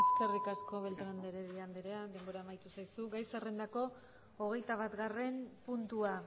eskerrik asko beltrán de heredia andrea denbora amaitu zaizu gai zerrendako hogeitabatgarren puntua